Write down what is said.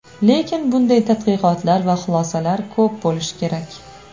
Lekin bunday tadqiqotlar va xulosalar ko‘p bo‘lishi kerak.